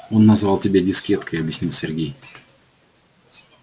он назвал тебя дискеткой объяснил сергей